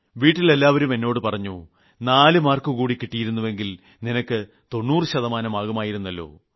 വീട്ടിലെല്ലാവരും എന്നോട് പറഞ്ഞു 4 മാർക്ക് കൂടി കിട്ടിയിരുന്നുവെങ്കിൽ നിനക്ക് 90 ശതമാനമാകുമായിരുന്നല്ലോ